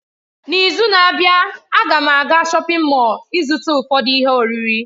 N'izu na-abịa, a ga m aga shọpin Mọll ịzụta ụfọdụ ihe oriri.